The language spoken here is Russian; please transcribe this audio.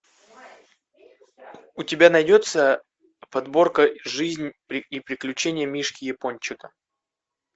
у тебя найдется подборка жизнь и приключения мишки япончика